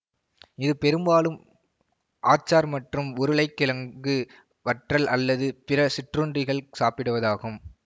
இது பெரும்பாலும் ஆச்சார் மற்றும் உருளைகிழங்கு வற்றல் அல்லது பிற சிற்றுண்டிகல் சாப்பிடுவதாகும்